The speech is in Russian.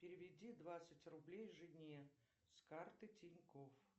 переведи двадцать рублей жене с карты тинькофф